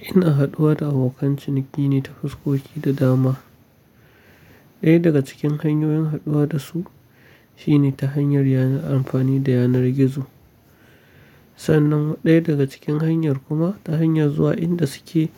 Ina haɗuwa da abokan ciniki ne ta fuskoki da dama. Ɗaya daga cikin hanyoyin haɗuwa da su shine ta hanyar amfani da yanar gizo. Sannan ɗaya daga cikin hanyar kuma ta hanyar zuwa inda suke